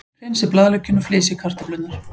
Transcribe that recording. Hreinsið blaðlaukinn og flysjið kartöflurnar.